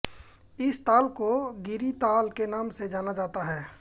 इस ताल को गिरिताल के नाम से जाना जाता है